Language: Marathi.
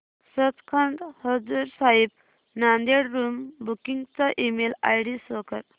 सचखंड हजूर साहिब नांदेड़ रूम बुकिंग चा ईमेल आयडी शो कर